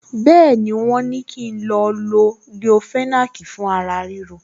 Bẹ́ẹ̀ni, wọ́n ní kí n lo leofenac fún ara ríro